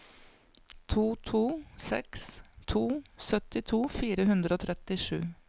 to to seks to syttito fire hundre og trettisju